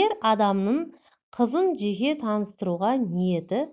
ер адамның қызын жеке таныстыруға ниеті